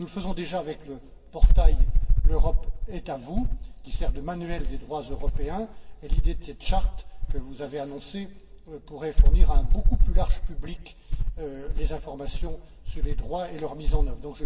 Nous le faisons déjà avec le portail L'Europe est à vous, qui sert de manuel des droits européens, et l'idée de cette charte que vous avez annoncée pourrait fournir à un public beaucoup plus large les informations sur ces droits et sur leur mise en œuvre.